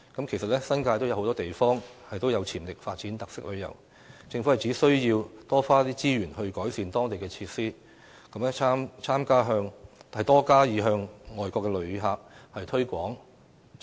其實，新界很多地方都有潛力發展特色旅遊，政府應多花資源改善當地設施，並多加向外國旅客推廣。